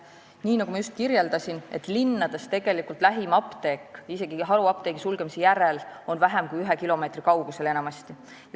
" Nii nagu ma just kirjeldasin, on linnades lähim apteek isegi haruapteekide sulgemise järel enamasti vähem kui ühe kilomeetri kaugusel.